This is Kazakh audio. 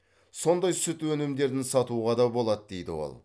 сондай сүт өнімдерін сатуға да болады дейді ол